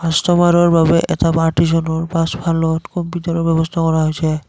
কাষ্টমাৰৰ বাবে এটা পাছফালত কম্পিউটাৰৰ ব্যৱস্থা কৰা হৈছে।